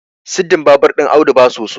siddin babur ɗin Audu ba soso